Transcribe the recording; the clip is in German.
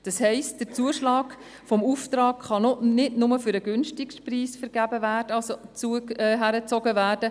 Das heisst, der Zuschlag für den Auftrag kann nicht bloss für den günstigsten Preis vergeben werden.